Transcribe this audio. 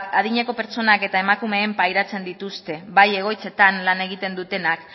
adineko pertsonak eta emakumeek pairatzen dituzte bai egoitzetan lan egiten dutenak